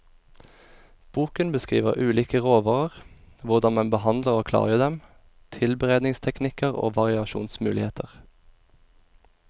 Boken beskriver ulike råvarer, hvordan man behandler og klargjør dem, tilberedningsteknikker og variasjonsmuligheter.